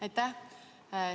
Aitäh!